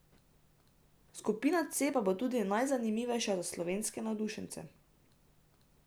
Skupina C pa bo tudi najzanimivejša za slovenske navdušence.